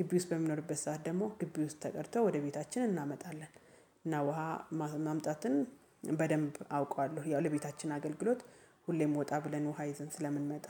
ግቢ ውስጥ በሚኖርበት ሰዓት ደግሞ ግቢ ውስጥ ተቀድተው ወደ ቤታችን እናመጣለን። እና ውሃ ማምጣትን በደንብ አውቀዋለሁ ያው ለቤታችን አገልግሎት ሁሌም ወጣ ብለን ውሃ ይዘን ስለምንመጣ